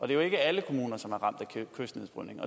jo ikke alle kommuner som er ramt af kystnedbrydning